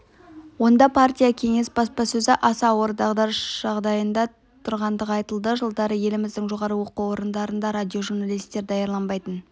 онда партия-кеңес баспасөзі аса ауыр дағдарыс жағдайында тұрғандығы айтылды жылдары еліміздің жоғары оқу орындарында радиожурналистер даярланбайтын